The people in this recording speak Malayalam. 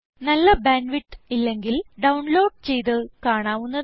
നല്ല ബാൻഡ് വിഡ്ത്ത് ഇല്ലെങ്കിൽ ഡൌൺ ലോഡ് ചെയ്ത് കാണാവുന്നതാണ്